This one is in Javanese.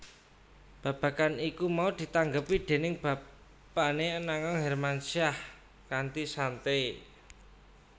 Babagan iku mau ditanggapi déning bapané Anang Hermansyah kanthi santai